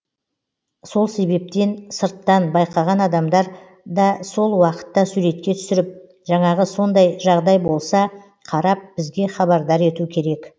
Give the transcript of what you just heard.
сол себептен сырттан байқаған адамдар да сол уақытта суретке түсіріп жаңағы сондай жағдай болса қарап бізге хабардар ету керек